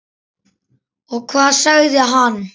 Og hvað sagði hann?